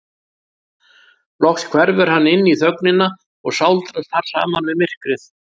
Loks hverfur hann inní þögnina og sáldrast þar saman við myrkrið.